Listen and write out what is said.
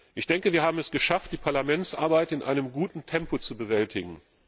Ich denke, wir haben es geschafft, die Parlamentsarbeit in einem guten Tempo zu bewältigen.